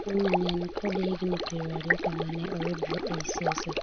Winnie ne kod higni piero ariyo kamae kane oyudore ei siasa.